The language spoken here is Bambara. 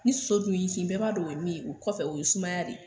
Ni soso dun y'i kin bɛɛ b'a dɔn o ye min ye. u kɔfɛ o ye sumaya de.